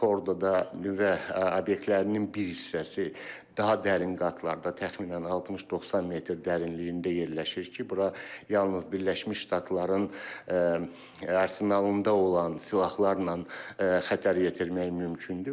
Fordoda nüvə obyektlərinin bir hissəsi daha dərin qatlarda təxminən 60-90 metr dərinliyində yerləşir ki, bura yalnız Birləşmiş Ştatların arsenalında olan silahlarla xətər yetirmək mümkündür.